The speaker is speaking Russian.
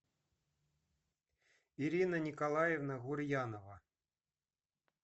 ирина николаевна гурьянова